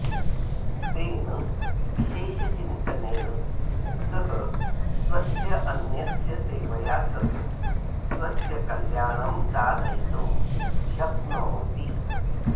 तेन विशेषचिन्तनेन सः स्वस्य अन्यस्य सेवया सह स्वस्य कल्याणं साधयितुं शक्नोति